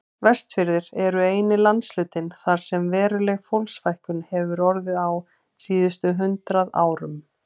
Vestfirðir eru eini landshlutinn þar sem veruleg fólksfækkun hefur orðið á síðustu hundrað árum.